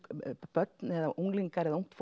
börn eða unglingar eða ungt